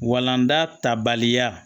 Walanda ta baliya